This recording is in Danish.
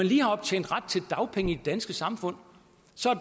lige har optjent ret til dagpenge i det danske samfund